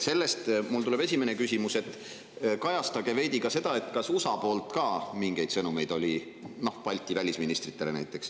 Sellest on mu esimene küsimus, et te ka seda, kas USA poolt oli mingeid sõnumeid Balti välisministritele.